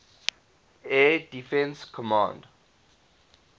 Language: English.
air defense command